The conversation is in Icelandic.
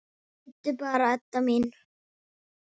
Bíddu bara, Edda mín.